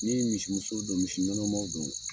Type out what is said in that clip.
Ni ye misi muso don, misi nɔnɔmanw don